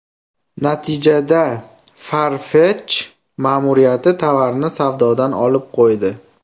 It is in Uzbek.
Natijada Farfetch ma’muriyati tovarni savdodan olib qo‘ydi.